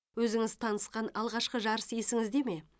өзіңіз танысқан алғашқы жарыс есіңізде ме